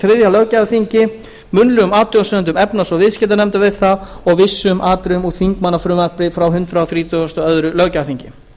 þriðja löggjafarþingi munnlegum athugasemdum efnahags og viðskiptanefndar við það og vissum atriðum úr þingmannafrumvarpi frá hundrað þrítugasta og öðrum löggjafarþingi